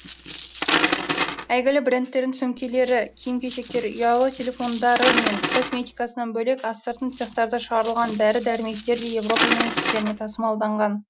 әйгілі брендтердің сөмкелері киім кешектері ұялы телефондары мен косметикасынан бөлек астыртын цехтарда шығарылған дәрі дәрмектер де еуропа мемлекеттеріне тасымалданған